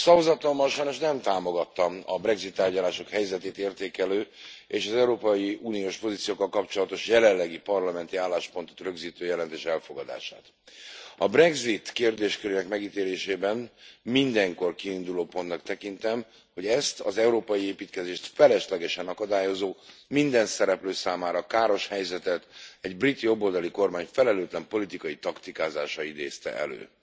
Szavazatommal sajnos nem támogattam a brexit tárgyalások helyzetét értékelő, és az európai uniós pozíciókkal kapcsolatos jelenlegi parlamenti álláspontot rögzítő jelentés elfogadását. A brexit kérdéskörének megítélésében mindenkor kiindulópontnak tekintem, hogy ezt az európai építkezést feleslegesen akadályozó, minden szereplő számára káros helyzetet, egy brit jobboldali kormány felelőtlen politikai taktikázása idézte elő.